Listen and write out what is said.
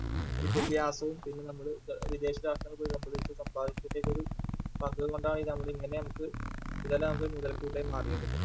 വിദ്യാഭ്യാസവും പിന്നെ നമ്മള് വിദേശരാഷ്ട്രങ്ങളിൽ ഇതെല്ലാം നമുക്ക് മുതൽക്കൂട്ടായി മാറിയത്.